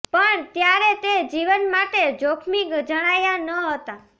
પણ ત્યારે તે જીવન માટે જોખમી જણાયાં ન હતાં